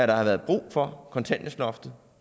der har været brug for kontanthjælpsloftet